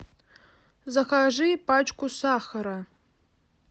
закажи пачку сахара